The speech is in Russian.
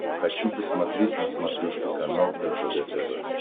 хочу посмотреть на смотрешке канал ржд тв